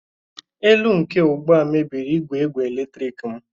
elu nke ugbu a mebiri igwe igwe eletrik m